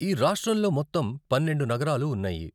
ఈ రాష్ట్రంలో మొత్తం పన్నెండు నగరాలు ఉన్నాయి.